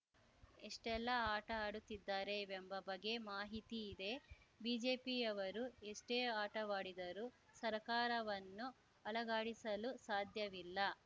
ಎಷ್ಟೆಲ್ಲಾ ಆಟ ಆಡುತ್ತಿದ್ದಾರೆ ಎಂಬ ಬಗ್ಗೆ ಮಾಹಿತಿ ಇದೆ ಬಿಜೆಪಿಯವರು ಎಷ್ಟೇ ಆಟವಾಡಿದರೂ ಸರಕಾರವನ್ನು ಅಲುಗಾಡಿಸಲು ಸಾಧ್ಯವಿಲ್ಲ